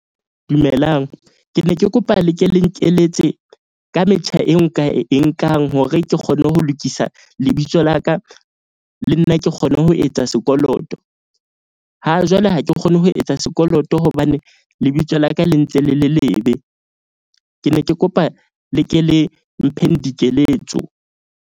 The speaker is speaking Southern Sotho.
Dumelang, ke ne ke kopa le ke le nkeletse ka metjha e nka e nkang hore ke kgone ho lokisa lebitso la ka. Le nna ke kgone ho etsa sekoloto. Ha jwale ha ke kgone ho etsa sekoloto. Hobane lebitso la ka le ntse le le lebe. Ke ne ke kopa le ke le mpheng dikeletso.